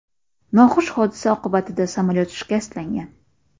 Noxush hodisa oqibatida samolyot shikastlangan.